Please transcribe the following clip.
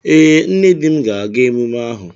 Ee, nne di m ga-aga emume ahụ